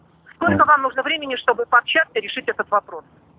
сколько вам нужно времени чтобы пообщаться и решить этот вопрос